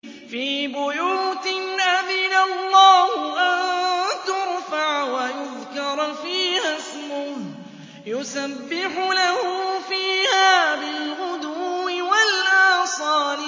فِي بُيُوتٍ أَذِنَ اللَّهُ أَن تُرْفَعَ وَيُذْكَرَ فِيهَا اسْمُهُ يُسَبِّحُ لَهُ فِيهَا بِالْغُدُوِّ وَالْآصَالِ